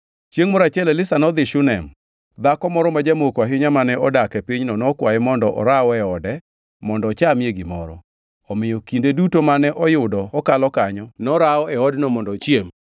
Chiengʼ moro achiel Elisha nodhi Shunem. Dhako moro ma jamoko ahinya mane odak e pinyno nokwaye mondo oraw e ode mondo ochamie gimoro. Omiyo kinde duto mane oyudo okalo kanyo, norawo e odno mondo ochiem.